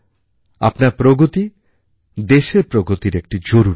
আপনার প্রগতি দেশের প্রগতির একটি জরুরি অংশ